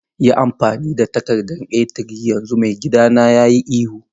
Yi amfani da takarda A3 yanzu, maigidana ya yi ihu.